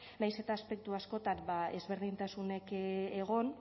nahiz eta aspektu askotan ezberdintasunek egon